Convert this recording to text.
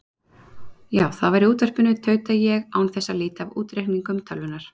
Já, það var í útvarpinu, tauta ég án þess að líta af útreikningum tölvunnar.